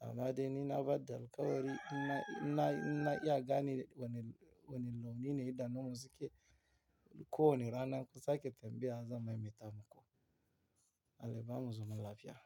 Amma dai ni na bada alkawari, inna, inna, inna iya gane wane, wane launi ne idanun suke. Ko wane ranar ku sake tambiya zan maimaita muku. Allah ba mu zaman lafiya.